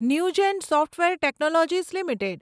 Newgen software technologies limited